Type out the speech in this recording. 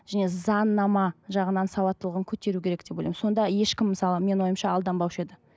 және заңнама жағынан сауаттылығын көтеру керек деп ойлаймын сонда ешкім мысалы менің ойымша алданбаушы еді